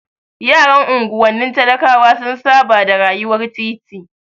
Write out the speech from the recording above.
Yaran unguwanni talakawa sun saba da rayuwar titi.